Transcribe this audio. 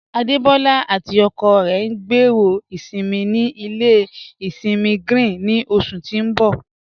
Adebọla àti ọkọ rẹ ń gbẹ́rọ́ isinmí ní ilẹ̀ isinmí Grín ni oṣù tí ń bọ̀.